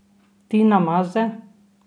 Tina Maze?